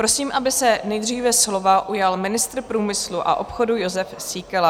Prosím, aby se nejdříve slova ujal ministr průmyslu a obchodu Jozef Síkela.